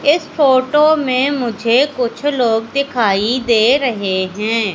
इस फोटो में मुझे कुछ लोग दिखाई दे रहे है।